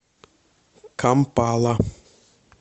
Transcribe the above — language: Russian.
кампала